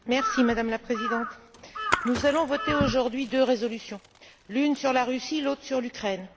Madame la Présidente, nous allons voter aujourd'hui deux résolutions, l'une sur la Russie et l'autre sur l'Ukraine.